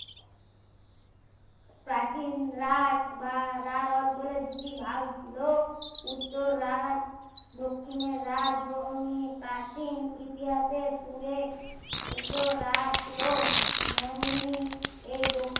প্রাচীন রার বা রার অঞ্চলে দুটি ভাগ ছিলো উত্তর রার দক্ষিণ রার জো উম প্রাচীন ইতিহাসের সুরের উত্তর রার ছিলো মরুভূমি এই দক্ষিণ